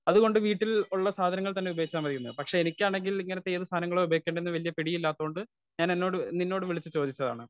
Speaker 1 അതുകൊണ്ടു വീട്ടിൽ ഉള്ള സാദനങ്ങൾ തന്നെ ഉപയോഗിച്ചാൽ മതിയെന്ന്. പക്ഷെ എനിക്ക് ആണെങ്കിൽ ഇങ്ങനത്തെ ഏത് സാധനങ്ങള ഉപയോഗിക്കേണ്ടേന്നു വല്യ പിടിയില്ലാത്തോണ്ട് ഞാൻ എന്നോട് നിന്നോട് വിളിച്ചു ചോദിച്ചതാണ്.